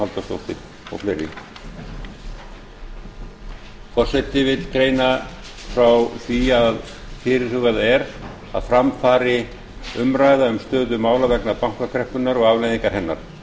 forseti vill greina frá því að fyrirhugað er að fram fari umræða um stöðu mála vegna bankakreppunnar og afleiðinga hennar